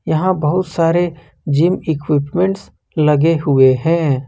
यहां बहुत सारे जिम इक्विपमेंट लगे हुए हैं।